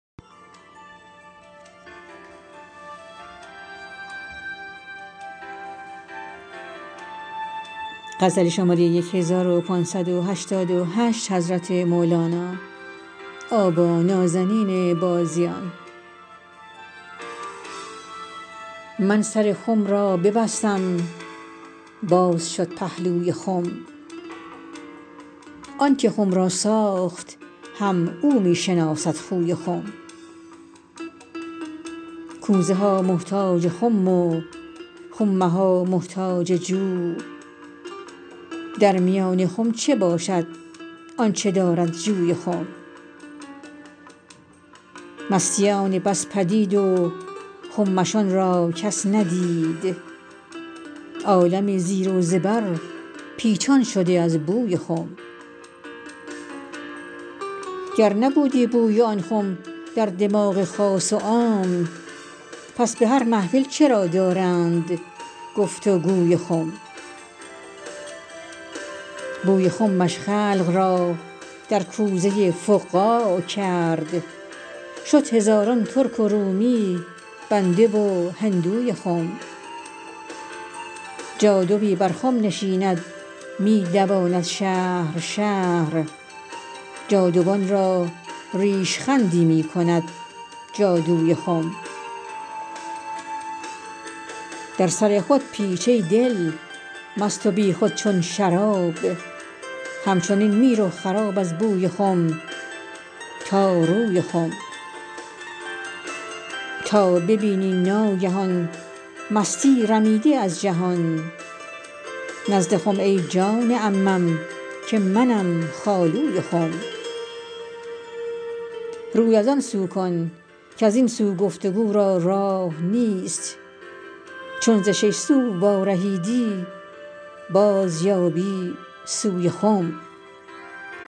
من سر خم را ببستم باز شد پهلوی خم آنک خم را ساخت هم او می شناسد خوی خم کوزه ها محتاج خم و خم ها محتاج جو در میان خم چه باشد آنچ دارد جوی خم مستیان بس پدید و خمشان را کس ندید عالمی زیر و زبر پیچان شده از بوی خم گر نبودی بوی آن خم در دماغ خاص و عام پس به هر محفل چرا دارند گفت و گوی خم بوی خمش خلق را در کوزه فقاع کرد شد هزاران ترک و رومی بنده و هندوی خم جادوی بر خم نشیند می دواند شهر شهر جادوان را ریش خندی می کند جادوی خم در سر خود پیچ ای دل مست و بیخود چون شراب همچنین می رو خراب از بوی خم تا روی خم تا ببینی ناگهان مستی رمیده از جهان نزد خم ای جان عمم که منم خالوی خم روی از آن سو کن کز این سو گفت و گو را راه نیست چون ز شش سو وارهیدی بازیابی سوی خم